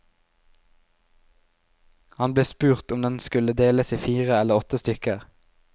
Han ble spurt om den skulle deles i fire eller åtte stykker.